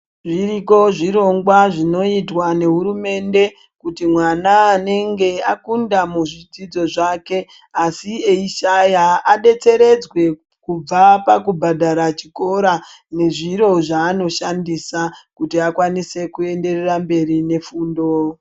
Zviriko zvirongwa zvinoitwa nehurumende kuti mwana anenge akunda muzvidzidzo zvake asi eishaya adetseredzwe kubva pakubhadhara chikora nezviro zvaanoshandisa kuti akwanise kuenderera mberi nefundo.